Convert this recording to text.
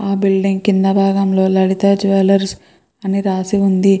ఆ బిల్డింగ్ కింద భాగంలో లలితా జ్యువలర్స్ అని రాసి వుంది.